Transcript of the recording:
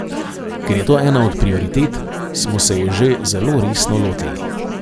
Ker je to ena od prioritet, smo se je že zelo resno lotili.